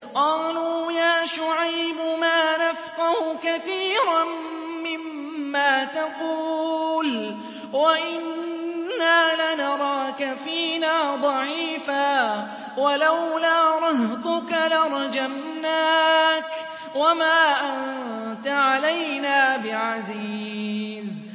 قَالُوا يَا شُعَيْبُ مَا نَفْقَهُ كَثِيرًا مِّمَّا تَقُولُ وَإِنَّا لَنَرَاكَ فِينَا ضَعِيفًا ۖ وَلَوْلَا رَهْطُكَ لَرَجَمْنَاكَ ۖ وَمَا أَنتَ عَلَيْنَا بِعَزِيزٍ